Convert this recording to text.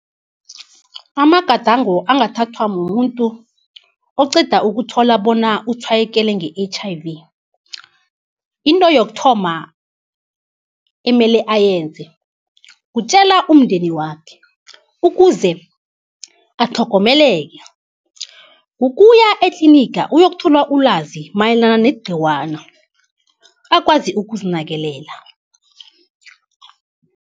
Amagadango angathathwa mumuntu oqeda ukuthola bona utshwayekele nge-H_I_V. Into yokuthoma, emele ayenze, kutjela umndeni wakhe ukuze atlhogomeleke, kukuya etliniga uyokuthola ilwazi mayelana negciwana akwazi ukuzinakekela.